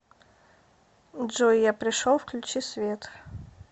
джой я пришел включи свет